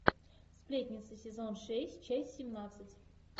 сплетница сезон шесть часть семнадцать